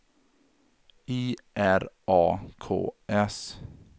I R A K S